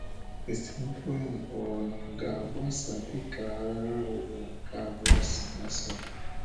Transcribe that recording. Esemokwu ahụ ọ̀ ga-agbasa dị ka Agha Ụwa nke Abụọ si gbasaa?